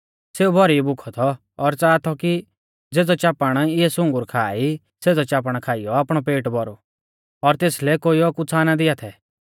सेऊ भौरी भुखौ थौ और च़ाहा थौ की ज़ेज़ौ चापण इऐ सुंगुर खा ई सेज़ै चापणा खाइयौ आपणौ पेट भौरु और तेसलै कोइयौ कुछ़ा ना दिआ थै